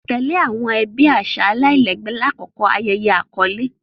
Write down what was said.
Tẹle awọn aṣa ẹbi alailẹgbẹ lakoko ayẹyẹ akọle.